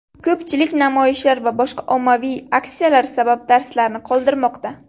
Ko‘pchilik namoyishlar va boshqa ommaviy aksiyalar sabab darslarni qoldirmoqda.